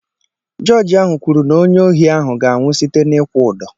Jọọjị ahụ kwuru n'onye ohi ahụ ga-anwụ site n'ịkwụ ụdọ.